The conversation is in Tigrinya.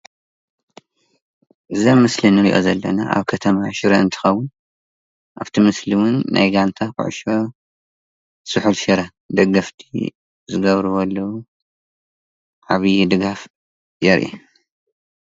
እዚ አብ ምስሊ ንሪአ ዘለና አብ ከተማ ሽረ እንትኸውን አብቲ ምስሊ እውን ናይ ጋንታ ኩዕሾ ስሑል ሽረ ደገፍቲ ዝገብርዎ ዘለው ዓብይ ድጋፍ የርኢ።